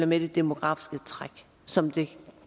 med det demografiske træk som det